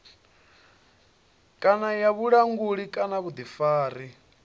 kana ya vhulanguli kana vhuḓifari